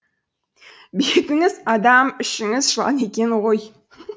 бетіңіз адам ішіңіз жылан екен ғой